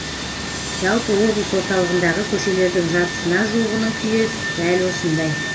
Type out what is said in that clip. жалпы облыс орталығындағы көшелердің жартысына жуығының күйі дәл осындай